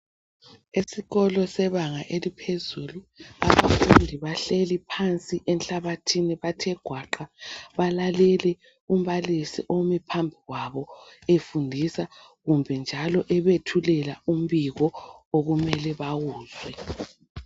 Esikolo sebanga eliphezulu abafundi bahlali phansi enhlabathini bathe gwaqa balalele umbalisi omi phambi kwabo efundisa kumbe njalo ebathulela umbiko okumele bawuzwe.